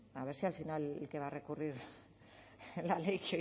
a ver si al final el que va a recurrir la ley